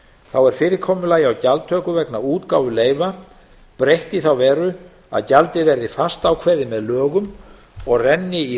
þá er fyrirkomulagi vegna gjaldtöku á útgáfu leyfa breytt í þá veru að gjaldið verði fastákveðið með lögum og renni í